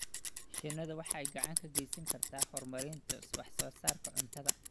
Shinnidu waxay gacan ka geysan kartaa horumarinta wax soo saarka cuntada.